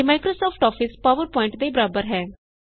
ਇਹ Microsoft Office PowerPoint ਦੇ ਬਰਾਬਰ ਹੈ